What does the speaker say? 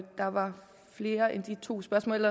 der var flere end de to spørgsmål